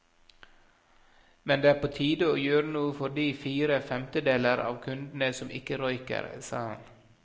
Men det er på tide å gjøre noe for de fire femtedeler av kundene som ikke røyker, sa han.